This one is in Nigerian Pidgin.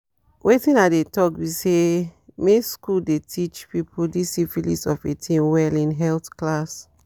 wetin i dey talk be say make school the teache people this syphilis of a thing well in health class